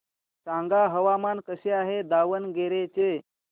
सांगा हवामान कसे आहे दावणगेरे चे